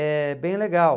É bem legal.